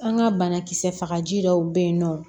An ka banakisɛ fagaji dɔw bɛ yen nɔ